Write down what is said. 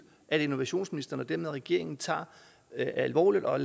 at innovationsministeren og dermed regeringen tager det alvorligt og